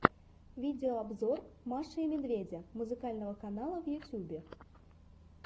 видеообзор маши и медведя музыкального канала в ютьюбе